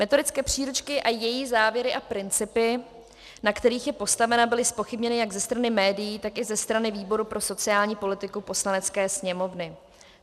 Metodické příručky a její závěry a principy, na kterých je postavena, byly zpochybněny jak ze strany médií, tak i ze strany výboru pro sociální politiku Poslanecké sněmovny.